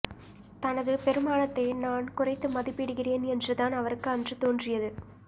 தனது பெறுமானத்தை நான் குறைத்து மதிப்பிடுகிறேன் என்றுதான் அவருக்கு அன்று தோன்றியது